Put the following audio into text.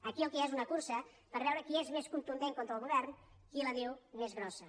aquí el que hi ha és una cursa per veure qui és més contundent contra el govern qui la diu més grossa